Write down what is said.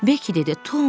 Beki dedi: